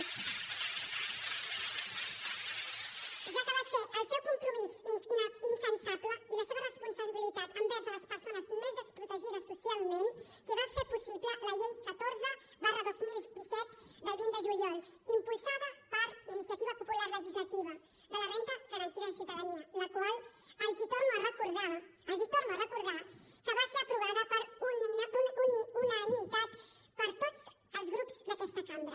ja que va ser el seu compromís incansable i la seva responsabilitat envers les persones més desprotegides socialment qui va fer possible la llei catorze dos mil disset del vint de juliol impulsada per iniciativa popular legislativa de la renda garantida de ciutadania la qual els torno a recordar els torno a recordar va ser aprovada per unanimitat per tots els grups d’aquesta cambra